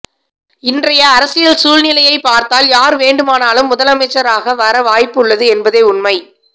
இன்றைய அரசியல் சூழ்நிலையை பார்த்தால் யார் வேண்டுமானாலும் முதலமைச்சராக வர வாய்ப்பு உள்ளது என்பதே உண்மை